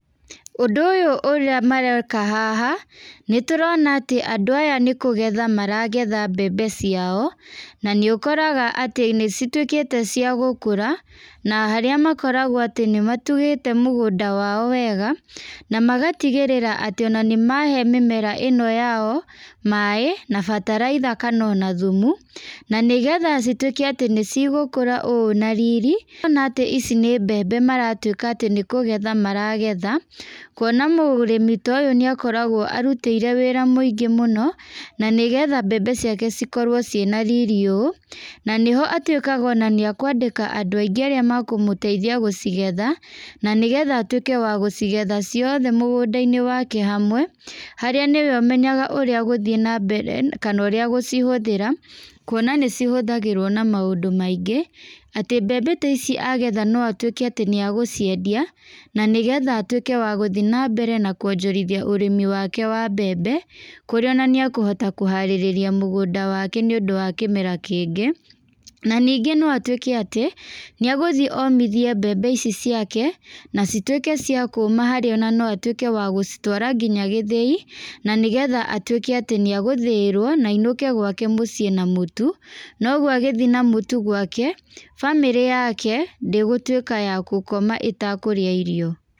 Ũndũ ũyũ ũrĩa mareka haha, nĩ tũrona atĩ andũ aya nĩ kũgetha maragetha mbembe ciao. Na nĩ ũkoraga atĩ nĩ cituĩkĩte cia gũkũra, na harĩa makoragwo atĩ nĩ matugĩte mũgũnda wao wega, na magatigĩrĩra atĩ ona nĩ mahe mĩmera ĩno yao, maaĩ, na bataraitha kana ona thumu. Na nĩgetha cituĩke atĩ nĩ cigũkũra ũũ na riri, kuona atĩ ici nĩ mbembe maratuĩka atĩ nĩ kũgetha maragetha, kuona mũrĩmi ta ũyũ nĩ akoragwo arutĩire wĩra mũingĩ mũno, na nĩgetha mbembe ciake cikorwo ciĩna riri ũũ. Na nĩho atuĩkaga ona nĩ akwandĩka andũ aingĩ arĩa makũmũteithia gũcigetha, na nĩgetha atuĩke wa gũcigetha ciothe mũgũnda-inĩ wake hamwe. Harĩa nĩwe ũmenyaga ũrĩa agũthiĩ na mbere kana ũrĩa agũcihũthĩra, kuona nĩ cihũthagĩrwo na maũndũ maingĩ. Atĩ mbembe ta ici agetha no atuĩke atĩ nĩ agũciendia, na nĩgetha atuĩke wa gũthi na mbere na kuonjorithia ũrĩmi wake wa mbembe, kũrĩa ona nĩ akũhota kũharĩrĩria mũgũnda wake nĩ ũndũ wa kĩmera kĩngĩ. Na ningĩ no atuĩke atĩ, nĩ agũthiĩ omithie mbembe ici ciake, na cituĩke cia kũũma harĩa ona no atuĩke wa gũcitwara nginya gĩthĩi, na nĩgetha atuĩke atĩ nĩ agũthĩĩrwo, na ainũke gwake mũciĩ na mũtu. Na ũguo agĩthi na mũtu gwake, bamĩrĩ yake, ndĩgũtuĩka ya gũkoma ĩtakũrĩa irio.